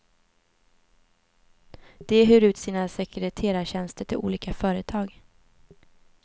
De hyr ut sina sekreterartjänster till olika företag.